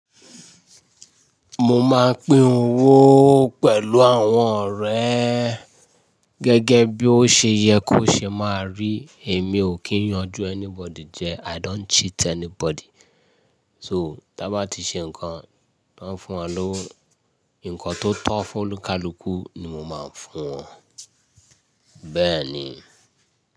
Mo máa ń pín owó pẹ̀lú àwọn ọ̀rẹ́ gẹ́gẹ́ bí ó ṣe yẹ kó ṣe máa rí. Èmi ò kí ń yanjú anybody jẹ. I don't cheat anybody. So, ta bá ti ṣe n ǹkan, tan fún wa lówo ǹkan tó tọ́ fún oni kálukú ni mo máa ń fún wọn. Bẹ́ẹ̀ ni.